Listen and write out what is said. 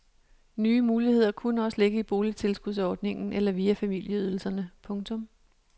Nye muligheder kunne også ligge i boligtilskudsordningen eller via familieydelserne. punktum